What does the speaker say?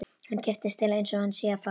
Hann kippist til einsog hann sé að fá það.